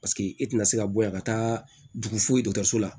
Paseke e tɛna se ka bɔ yan ka taa dugu fo dɔgɔtɔrɔso la